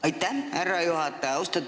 Aitäh, härra juhataja!